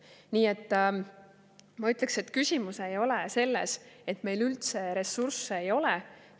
Nii et ma ütleksin, et küsimus ei ole selles, et meil üldse ressursse ei ole.